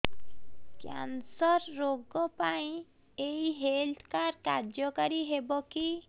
cancer ରୋଗ ପାଇଁ ଏଇ ହେଲ୍ଥ କାର୍ଡ କାର୍ଯ୍ୟକାରି ହେବ କି